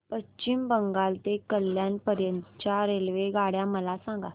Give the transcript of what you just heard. पश्चिम बंगाल ते कल्याण पर्यंत च्या रेल्वेगाड्या मला सांगा